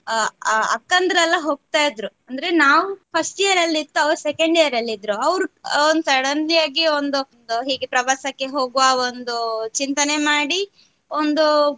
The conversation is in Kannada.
ಅಕ್ಕಂದಿರೆಲ್ಲಾ ಹೋಗ್ತಾ ಇದ್ರು ಅಂದ್ರೆ ನಾವು first year ಇತ್ತು ಅವ್ರು second year ಇದ್ರು ಅವ್ರು suddenly ಆಗಿ ಒಂದು ಹೇಗೆ ಪ್ರವಾಸಕ್ಕೆ ಹೋಗುವ ಒಂದು ಚಿಂತನೆ ಮಾಡಿ ಒಂದು.